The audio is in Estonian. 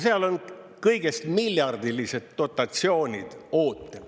Seal on kõigest miljardilised dotatsioonid ootel.